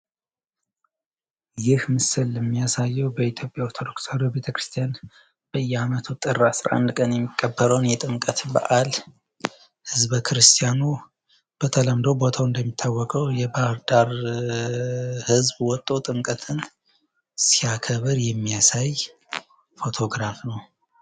ይህ ምስል የሚያሳየው በኢትዮጵያ ኦርቶዶክስ ተዋህዶ ቤተ ክርስትያን በየአመቱ ጥር 11 ቀን የሚከበረውን የጥምቀትን በዐል ህዝበ ክርስቲያኑ በተለምዶ ቦታው እንደሚታወቀው የባህርዳር ህዝብ ወጦ ጥምቀትን ሲያከብር የሚይሳይ አውቶ ግራፍ ነው።